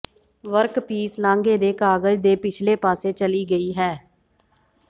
workpiece ਲਾਂਘੇ ਦੇ ਕਾਗਜ਼ ਦੇ ਪਿਛਲੇ ਪਾਸੇ ਚਲੀ ਗਈ ਹੈ